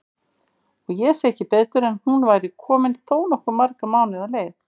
Og ég sá ekki betur en hún væri komin þó nokkuð marga mánuði á leið!